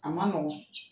A ma nɔgɔ